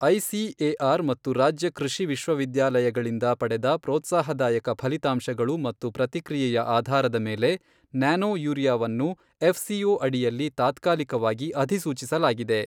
ICAR ಮತ್ತು ರಾಜ್ಯ ಕೃಷಿ ವಿಶ್ವವಿದ್ಯಾಲಯಗಳಿಂದ ಪಡೆದ ಪ್ರೋತ್ಸಾಹದಾಯಕ ಫಲಿತಾಂಶಗಳು ಮತ್ತು ಪ್ರತಿಕ್ರಿಯೆಯ ಆಧಾರದ ಮೇಲೆ ನ್ಯಾನೊ ಯೂರಿಯಾವನ್ನು ಎಫ್ಸಿಒ ಅಡಿಯಲ್ಲಿ ತಾತ್ಕಾಲಿಕವಾಗಿ ಅಧಿಸೂಚಿಸಲಾಗಿದೆ